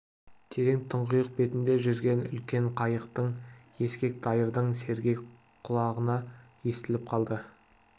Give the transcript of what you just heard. терең тұңғиық бетінде жүзген үлкен қайықтың ескек дайырдың сергек құлағына естіліп қалды